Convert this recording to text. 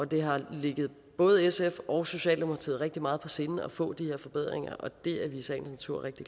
det har ligget både sf og socialdemokratiet rigtig meget på sinde at få de her forbedringer og det er vi i sagens natur rigtig